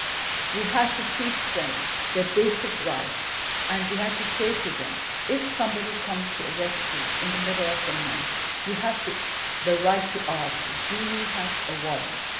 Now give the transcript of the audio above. We had to teach them their basic rights, and we had to say to them that, if somebody came to arrest them in the middle of the night, they had the right to ask Do you have a warrant?'